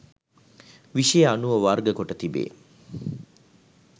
විෂය අනුව වර්ගකොට තිබේ